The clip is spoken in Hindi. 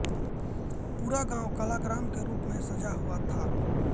पूरा गांव कलाग्राम के रूप में सजा हुआ था